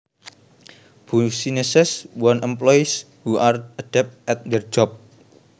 Businesses want employees who are adept at their jobs